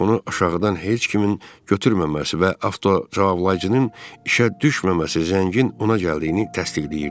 Telefonu aşağıdan heç kimin götürməməsi və avtocavablayıcının işə düşməməsi zəngin ona gəldiyini təsdiqləyirdi.